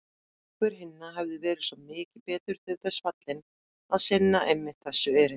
Einhver hinna hefði verið svo mikið betur til þess fallinn að sinna einmitt þessu erindi.